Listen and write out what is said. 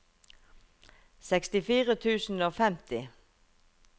sekstifire tusen og femti